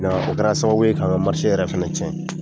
O kɛra sababu kan ka yɛrɛ fɛnɛ cɛn.